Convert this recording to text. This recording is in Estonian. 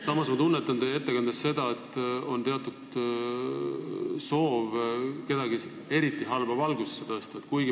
Samas ma tunnetan teie juttu kuulates seda, et teil on soov kedagi eriti halba valgusesse tõsta.